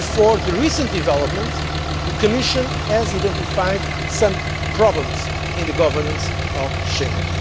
well before the recent developments the Commission had already identified some problems in the governance of Schengen.